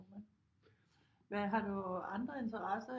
Det må man hvad har du andre interesser